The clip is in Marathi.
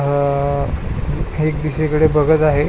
अह एक दिशेकडे बघत आहे.